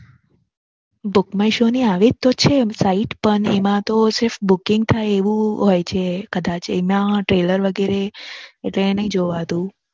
Book My show ની આવી જ તો છે એમ Site પણ એમાં તો Booking થાય એવું હોય છે કદાચ એમાં Trailer વગેરે એતો એ નાઈ જોવાતું.